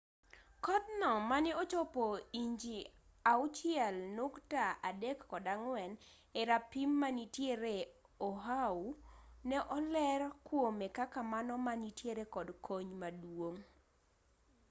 kodh no mane ochopo inji 6.34 e rapim manitiere oahu ne oler kuome kaka mano ma nitiere kod kony maduong